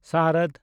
ᱥᱟᱨᱚᱫ